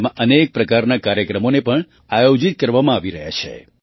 તેમાં અનેક પ્રકારના કાર્યક્રમોને પણ આયોજિત કરવામાં આવી રહ્યા છે